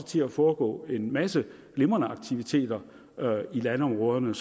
til at foregå en masse glimrende aktiviteter i landområderne